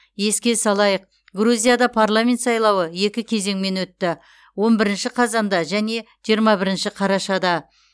еске салайық грузияда парламент сайлауы екі кезеңмен өтті отыз бірінші қазанда және жиырма бірінші қарашада